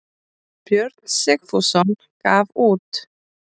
Björn Sigfússon gaf út.